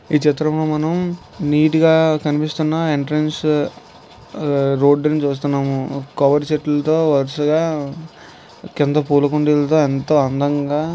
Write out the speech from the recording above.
ఈ చిత్రంలో మనం నీటుగా కనిపిస్తున్న ఎంట్రెన్స్ రోడ్డు నుంచి చూస్తున్నాము కవర్ చెట్లతో వరుసగా కింద పూలకుండేలతో ఎంతో అందంగా.